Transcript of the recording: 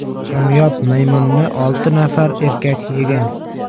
Kamyob maymunni olti nafar erkak yegan.